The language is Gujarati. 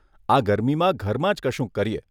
આ ગરમીમાં ઘરમાં જ કશુંક કરીએ.